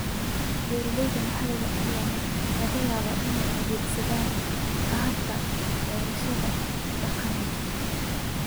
Beeralayda maxalliga ah ayaa laga yaabaa inay adeegsadaan hababka beerashada ee dhaqameed.